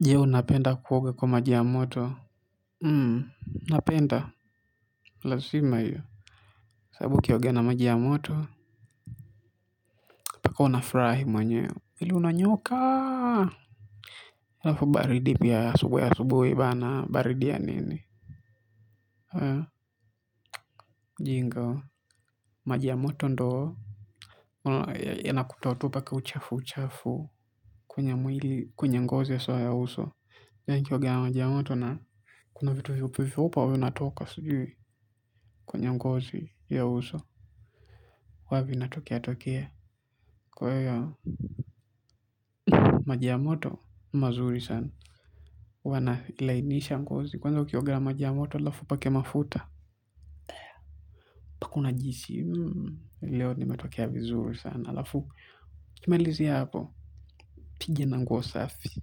Jeo unapenda kuoga kwa maji ya moto hmm napenda lazima hio sababu ukioga na maji ya moto paka una furahi mwenyewe mwili unanyooka alafu baridi pia ya asubuhi asubuhi bana baridi ya nini haa jinga maji ya moto ndoo ya naku toa tu paka uchafu uchafu kwenye mwili kwenye ngozi haswa ya uso pia nikioga ya maji ya moto na kuna vitu vyeupe vyeupe au inatoka sijui kwenye ngozi ya uso huavi natokea tokea kwahio maji ya moto mazuri sana. Wana ilainisha mgozi. Kwanza ukioga na maji ya moto alafu upake mafuta. Pakuna jisi. Leo nimetokea vizuri sana alafu. Kimalizia hapo. Piga na nguo safi.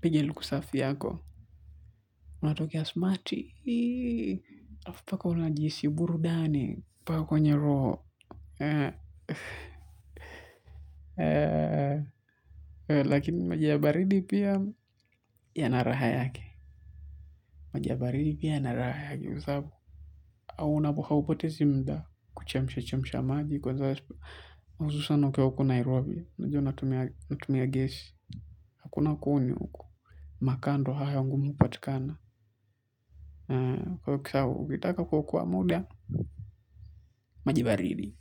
Piga luku safi yako. Unatokea smarti. Alafu paka unajihisi burudani. Paka kwenye roho. Lakini maji ya baridi pia yana raha yake maji ya baridi pia yanaraha yake kwa sabu hauna haupotezi mda kuchemsha chemsha maji kwa za hususan ukiwa huku nairobi naju una tumia gesi hakuna kuni huku makaa ndo hayo ngumu patikana kwa kisawa ukitaka kuokoa muda majibaridi.